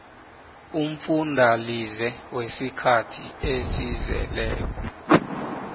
umfundalize wesikhathi esizeleko